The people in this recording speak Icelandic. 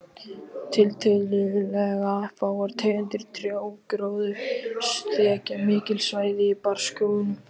Tiltölulega fáar tegundir trjágróðurs þekja mikil svæði í barrskógunum.